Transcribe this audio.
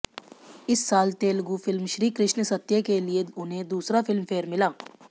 इसी साल तेलुगु फिल्म श्री कृष्ण सत्य के लिए उन्हें दूसरा फिल्मफेयर मिला